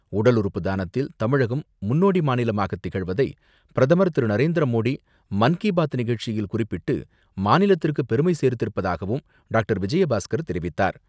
உடல் உறுப்பு தானத்தில் தமிழகம் முன்னோடி மாநிலமாக திகழ்வதை பிரதமர் திரு நரேந்திர மோடி மன் கி பாத் நிகழ்ச்சியில் குறிப்பிட்டு, மாநிலத்திற்கு பெருமை சேர்த்திருப்பதாகவும் டாக்டர் விஜயபாஸ்கர் தெரிவித்தார்.